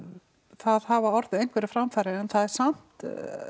það hafa orðið einhverjar framfarir en það er samt